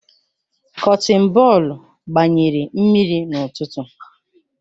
Kọtin bọọlụ gbanyere mmiri n'ụtụtụ